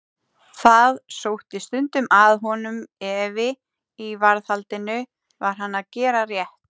Það sótti stundum að honum efi í varðhaldinu: var hann að gera rétt?